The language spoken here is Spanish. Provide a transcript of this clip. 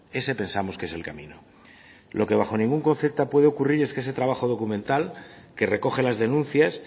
ese pensamos que es el camino lo que bajo ningún concepto puede ocurrir es que ese trabajo documental que recoge las denuncias